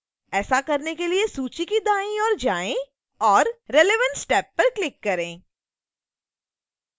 ऐसा करने के लिए सूची के दाईं ओर जाएं और relevance टैब पर क्लिक करें